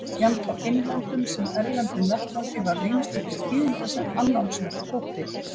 Jafnt á innlendum sem erlendum vettvangi varð ýmislegt til tíðinda sem annálsvert þótti.